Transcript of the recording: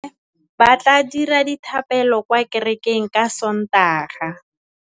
Bommê ba tla dira dithapêlô kwa kerekeng ka Sontaga.